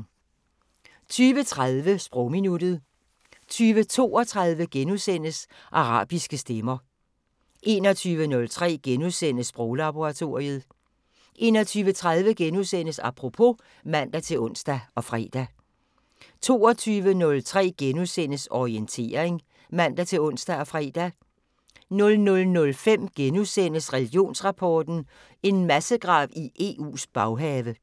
20:30: Sprogminuttet 20:32: Arabiske stemmer * 21:03: Sproglaboratoriet * 21:30: Apropos *(man-ons og fre) 22:03: Orientering *(man-ons og fre) 00:05: Religionsrapport: En massegrav i EU's baghave